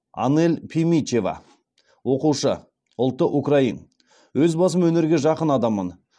анель пимичева оқушы ұлты украин өз басым өнерге жақын адаммын